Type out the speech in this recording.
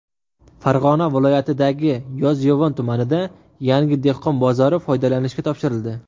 Farg‘ona viloyatidagi Yozyovon tumanida yangi dehqon bozori foydalanishga topshirildi.